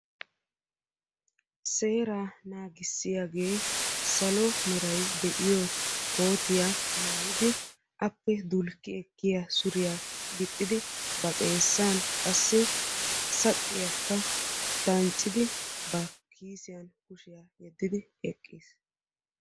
Seera nagissiyagee salo meray de'iyo kootiya maayidi appe dulki ekkiya suuriya gixxidi ba xeessan qassi saqqiyaka danccidi ba kiisiyan kushiya yedidi eqqiis.